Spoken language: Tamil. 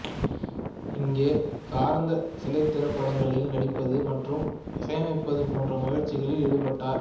இங்கே கராந்த் சில திரைப்படங்களில் நடிப்பது மற்றும் இசையமைப்பது போன்ற முயற்சிகளில் இடுபட்டார்